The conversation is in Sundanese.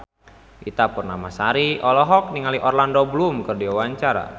Ita Purnamasari olohok ningali Orlando Bloom keur diwawancara